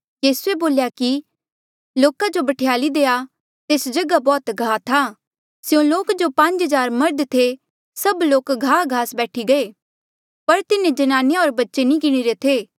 यीसूए बोल्या कि लोका जो बठ्याली देआ तेस जगहा बौह्त घाह था स्यों लोक जो पांज हज़ार मर्ध थे सब लोक घाह गास बैठी गये पर तिन्हें ज्नानिया होर बच्चे नी गिणीरे थे